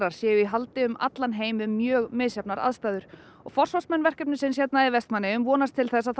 séu í haldi um allan heim við mjög misjafnar aðstæður og forsvarsmenn verkefnisins hér í Vestmannaeyjum vonast til þess að það